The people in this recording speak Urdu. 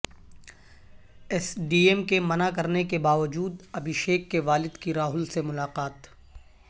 ایس ڈی ایم کے منع کرنے کے باوجود ابھشیک کے والد کی راہل سے ملاقات